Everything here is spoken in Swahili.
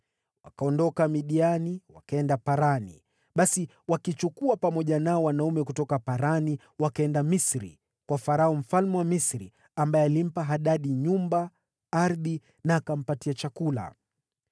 Wakaondoka Midiani wakaenda Parani. Basi wakichukua pamoja nao wanaume kutoka Parani, wakaenda Misri, kwa Farao mfalme wa Misri, ambaye alimpa Hadadi nyumba, ardhi na akampatia chakula.